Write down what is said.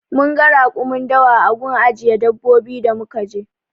Munga rakumin dawa a gun ajiye dabbobi da muka je